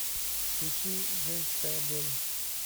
включи женская доля